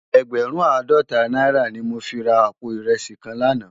Ègbèrùn àádòtá nàirá ni mó fi rá àpó irèsí kán làná